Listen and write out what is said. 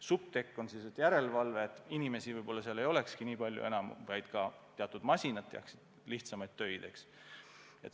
SupTech on siis järelevalve, et inimesi seal ei olekski enam kuigi palju, vaid masinad teeksid teatud lihtsamaid töid.